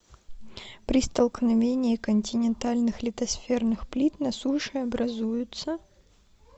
при столкновении континентальных литосферных плит на суше образуются